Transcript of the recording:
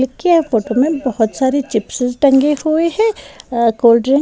की यह फोटो में बहुत सारे चिप्स टंगे हुए हैं अ कोल्डड्रिंक --